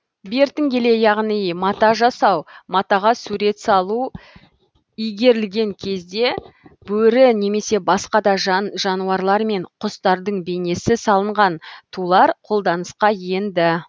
бертін келе яғни мата жасау матаға сурет салу игерілген кезде бөрі немесе басқа да жан жануарлар мен құстардың бейнесі салынған тулар қолданысқа енді